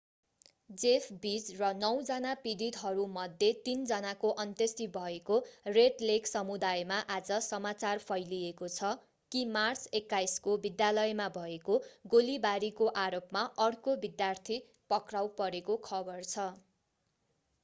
Jeff Weise र नौजना पीडितहरूमध्ये तीन जनाको अन्त्येष्टि भएको रेड लेक समुदायमा आज समाचार फैलिएको छ कि मार्च 21 को विद्यालयमा भएको गोलीबारी को आरोपमा अर्को विद्यार्थी पक्राउ परेको खबर छ